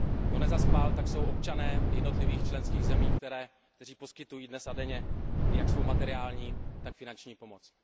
Kdo nezaspal, tak jsou občané jednotlivých členských zemí, kteří poskytují dnes a denně jak svou materiální, tak finanční pomoc.